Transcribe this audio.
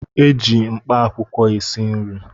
Eji mkpaakwụkwọ esi nri